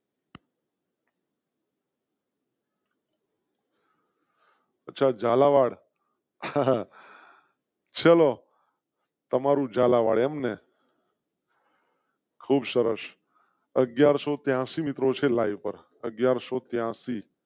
અચ્છા ઝાલાવાડ. ચલો. તમારું ઝાલાવાડ એમ ને . ખુબ સરસ અગિયારસો ત્યા સી મિત્રો સાથે લાઇવ પર અગિયારસો ત્યા સી.